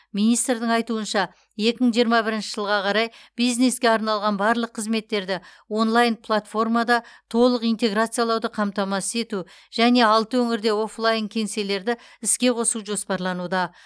министрдің айтуынша екі мың жиырма бірінші жылға қарай бизнеске арналған барлық қызметтерді онлайн платформада толық интеграциялауды қамтамасыз ету және алты өңірде офлайн кеңселерді іске қосу жоспарлануда